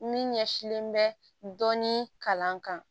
Min ɲɛsinlen bɛ dɔni kalan kan